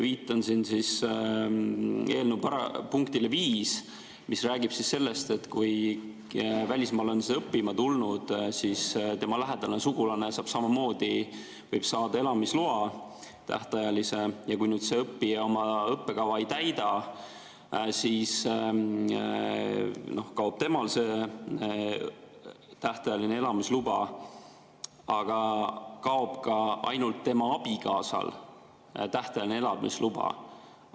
Viitan siin eelnõu punktile 5, mis räägib sellest, et kui välismaalane on siia õppima tulnud, siis tema lähedane sugulane võib samamoodi saada tähtajalise elamisloa, ja kui see õppija õppekava ei täida, siis kaob temal see tähtajaline elamisluba ja kaob ka tema abikaasal tähtajaline elamisluba.